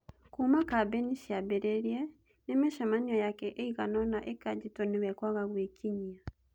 Kumia kambeini ciambĩrĩrie, ni micemanio yake ĩigana-ũna ĩkanjĩtwo nĩwe kwaga gũĩkinyia.